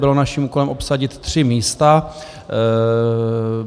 bylo naším úkolem obsadit tři místa.